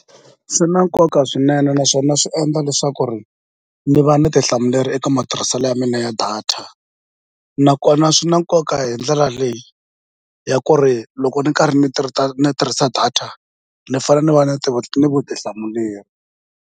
Swi na nkoka swinene naswona swi endla leswaku ri ni va ni eka matirhiselo ya mina ya data nakona swi na nkoka hi ndlela leyi ya ku ri loko ni karhi ni ni tirhisa data ni fane ni va na ni vutihlamuleri.